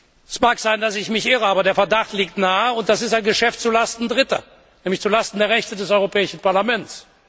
Es mag sein, dass ich mich irre, aber der Verdacht liegt nahe, und das ist ein Geschäft zu Lasten Dritter, nämlich zu Lasten der Rechte des Europäischen Parlaments.